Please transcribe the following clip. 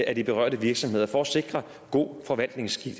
af de berørte virksomheder for at sikre god forvaltningsskik